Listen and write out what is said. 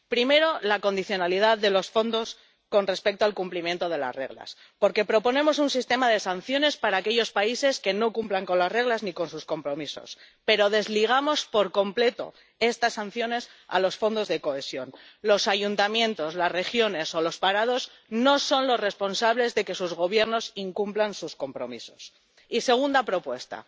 Primera propuesta la condicionalidad de los fondos con respecto al cumplimiento de las reglas, porque proponemos un sistema de sanciones para aquellos países que no cumplan las reglas ni sus compromisos, pero desligamos por completo estas sanciones de los fondos de cohesión —los ayuntamientos, las regiones o los parados no son los responsables de que sus Gobiernos incumplan sus compromisos— Y segunda propuesta